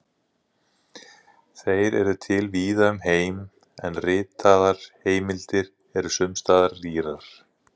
Þeir eru til víða um heim, en ritaðar heimildir eru sums staðar rýrar.